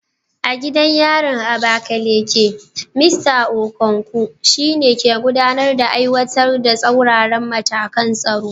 A gidan yarin Abakaleke, Mista Okonkwo, shi ne ke gudanar da aiwatar da tsauraran matakan tsaro